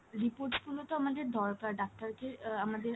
reports গুলো তো আমাদের দরকার ডাক্তার কে আহ আমাদের,